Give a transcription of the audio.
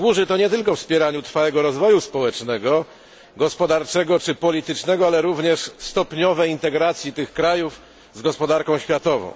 Służy on nie tylko wspieraniu trwałego rozwoju społecznego, gospodarczego i politycznego ale i również stopniowej integracji tych krajów z gospodarką światową.